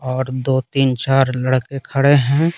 और दो तीन चार लड़के खड़े हैं।